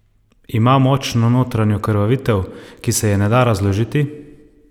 Ima močno notranjo krvavitev, ki se je ne da razložiti?